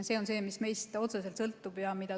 See on see, mis meist otseselt sõltub.